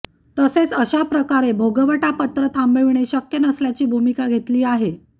तसेच अशा प्रकारे भोगवटा पत्र थांबविणे शक्य नसल्याची भूमिका घेतली आहे